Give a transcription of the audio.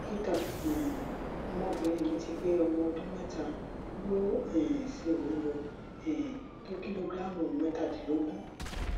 dókítà um ọmọbìnrin mi ti pé ọmọ ọdún mẹta ó um sì wúwo um tó kìlógíráàmù mẹtàdínlógún